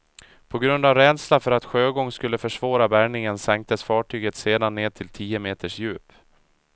På grund av rädsla för att sjögång skulle försvåra bärgningen sänktes fartyget sedan ned till tio meters djup.